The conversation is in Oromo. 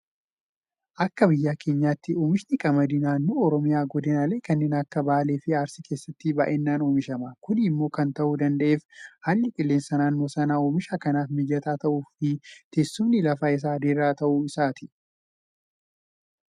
Akka biyya keenyaatti oomishni qamadii naannoo oromiyaa godinaalee kanneen akka Baaleefi Arsii keessatti baay'inaan oomishama. Kun immoo kan ta'uu danda'eef haalli qilleensa naannoo sanaa oomisha kanaaf mijataa ta'uufi teessumni lafa isaanii diriiraa ta'uu isaatiini.